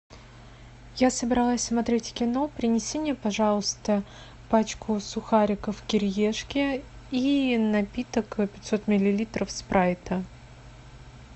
я собралась смотреть кино принеси мне пожалуйста пачку сухариков кириешки и напиток пятьсот миллилитров спрайта